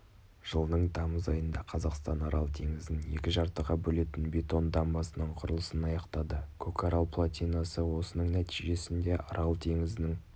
жылдың тамыз айында қазақстан арал теңізін екі жартыға бөлетін бетон дамбасының құрылысын аяқтады көкарал плотинасы осының нәтижесінде арал теңізінің